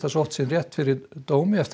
sótt sinn rétt fyrir dómi eftir